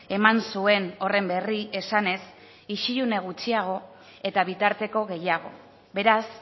eman zuen horren berri esanez isilune gutxiago eta bitarteko gehiago beraz